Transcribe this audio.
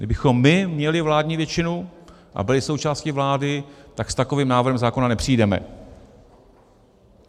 Kdybychom my měli vládní většinu a byli součástí vlády, tak s takovým návrhem zákona nepřijdeme.